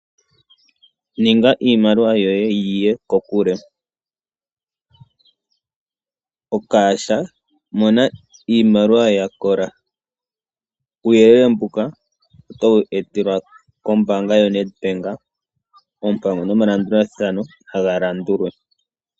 Ninga iimaliwa yoye yiye kokule. Mona iimaliwa yakola uuyelele mbuka otowu etelwa kombanga yoNedbank ompango nomalandulathano galandulwe.